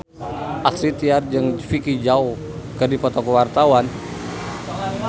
Astrid Tiar jeung Vicki Zao keur dipoto ku wartawan